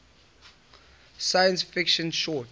science fiction short